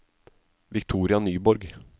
Victoria Nyborg